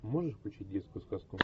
можешь включить детскую сказку